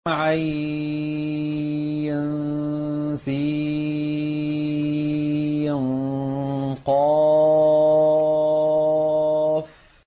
عسق